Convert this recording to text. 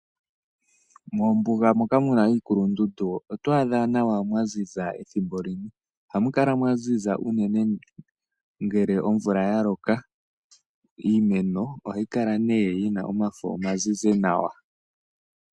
Mombuga moka mu na iikulundundu otwaadha nawa mwa ziza ethimbo limwe. Oha mu kala mwa ziza nawa ngele omvula ya loka. Iimeno ohayi kala nee yi na omafo omazizi nawa.